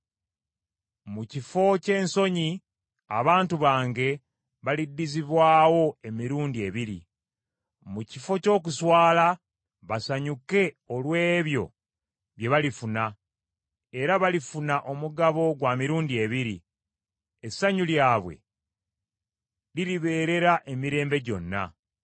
Mu kifo ky’ensonyi, abantu bange baliddizibwawo emirundi ebiri. Mu kifo ky’okuswala basanyuke olw’ebyo bye balifuna era balifuna omugabo gwa mirundi ebiri, essanyu lyabwe liribeerera emirembe gyonna.